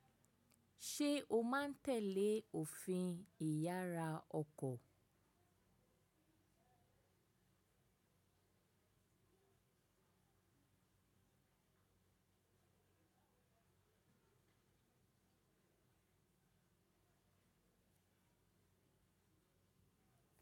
Ṣé o máa ń tẹ̀lé òfin ìyára ọkọ̀?